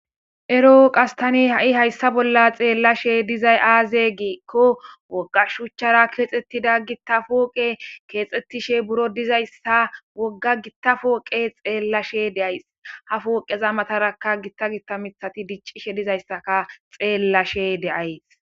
Erooqas tani ha7i hayssa bolla xeellashe dizay aaze giikko woggashuchchara keexxettida gittafooqe keexxettishe buro dizayssa wogga gitta fooqe xeellashe deays ha fooqeza mataraka gitta gitamithati diccishe dizayssaka xeellashe deays.